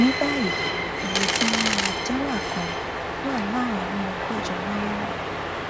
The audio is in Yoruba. ní báyìí iye tí wọn ń rà jálá kan wà láàrin ọgọjọ náírà